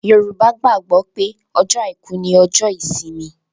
Yorùbá gbàgbọ́ pé ọjọ́ àìkú ni ọjọ́ ìsinmi